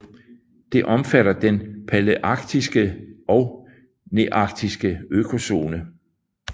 Det omfatter den palæarktiske og nearktiske økozone